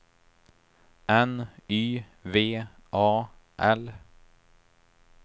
N Y V A L